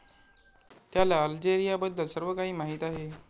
त्याला अल्जेरियाबद्दल सर्वकाही माहीत आहे.